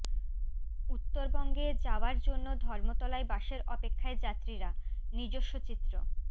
উত্তরবঙ্গে যাওয়ার জন্য ধর্মতলায় বাসের অপেক্ষায় যাত্রীরা নিজস্ব চিত্র